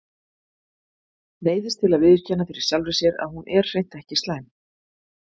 Neyðist til að viðurkenna fyrir sjálfri sér að hún er hreint ekki slæm.